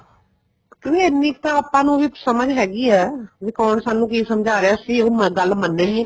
ਕਿਉਂਕਿ ਇੰਨੀ ਕ ਤਾਂ ਆਪਾਂ ਨੂੰ ਵੀ ਸਮਝ ਹੈਗੀ ਏ ਵੀ ਕੋਣ ਸਾਨੂੰ ਕੀ ਸਮਝਾ ਰਿਹਾ ਅਸੀਂ ਵੀ ਉਹ ਗੱਲ ਮੰਨਨੀ ਏ